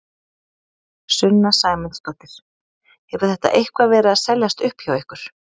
Sunna Sæmundsdóttir: Hefur þetta eitthvað verið að seljast upp hjá ykkur?